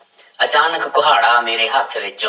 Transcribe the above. ਅਚਾਨਕ ਕੁਹਾੜਾ ਮੇਰੇ ਹੱਥ ਵਿੱਚ